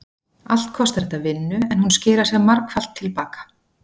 Allt kostar þetta vinnu en hún skilar sér margfalt til baka.